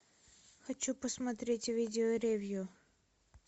хочу посмотреть видео ревью